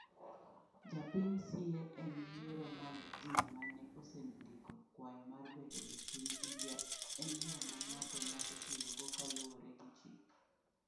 Japiny siye en yiero mag jii mane osendiko kwayo mar bedo jopiny India en yo ma ng’ato nyalo tiyogo kaluwore gi chik.